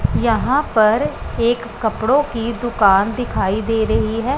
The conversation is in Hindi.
यहां पर एक कपड़ों की दुकान दिखाई दे रही है।